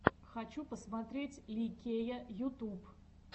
хочу посмотреть ли кея ютуб